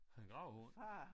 En gravhund